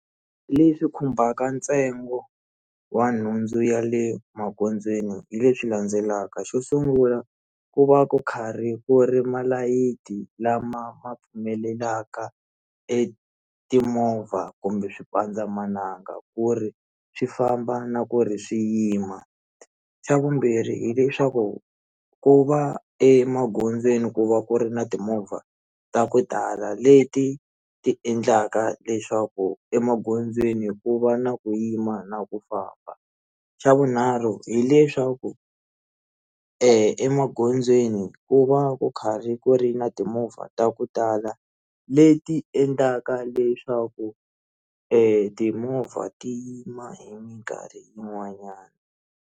Leswi khumbaka ntsengo wa nhundzu ya le magondzweni hi leswi landzelaka xo sungula ku va ku karhi ku ri malayithi lama ma pfumelelaka etimovha kumbe xipandzamananga ku ri swi famba na ku ri swi yima xa vumbirhi hileswaku ku va emagondzweni ku va ku ri na timovha ta ku tala leti ti endlaka leswaku emagondzweni ku va na ku yima na ku famba xa vunharhu hileswaku eh emagondzweni ku va ku karhi ku ri na timovha ta ku tala leti endlaka leswaku timovha ti yima hi minkarhi yin'wanyana.